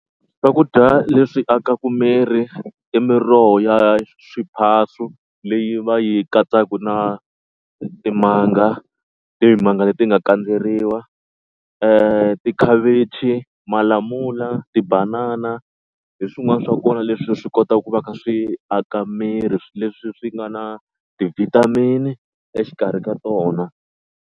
Swakudya leswi akaka miri i miroho ya swiphaso leyi va yi katsaka na timanga timanga leti nga kandzeriwa. Tikhavichi, malamula, tibanana hi swin'wana swa kona leswi swi kotaka ku va kha swi aka miri leswi swi nga na ti-vitamin exikarhi ka tona.